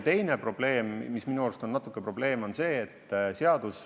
Teine probleem minu arust on selline.